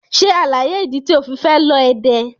Ṣe alaye idi ti o fi fẹ lọ Ede!